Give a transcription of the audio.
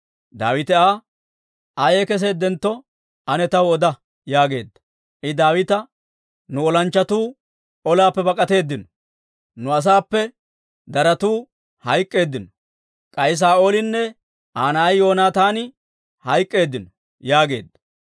Daawite Aa, «Ayay keseeddentto ane taw oda» yaageedda. I Daawita, «Nu olanchchatuu olaappe bak'atteedino; nu asaappe daratu hayk'k'eeddino; k'ay Saa'oolinne Aa na'ay Yoonataani hayk'k'eeddino» yaageedda.